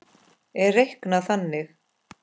er reiknað þannig